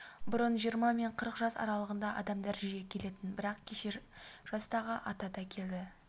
бұрын жиырма мен қырық жас аралығындағы адамдар жиі келетін бірақ кеше жастағы ата да келді